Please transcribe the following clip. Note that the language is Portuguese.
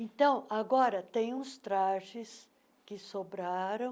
Então, agora tem uns trajes que sobraram,